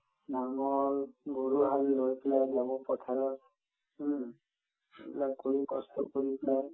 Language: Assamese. নাঙল গৰুহাল লৈ পেলাই যাব পথাৰত হুম ইমানখিনি কষ্ট কৰি পেলাই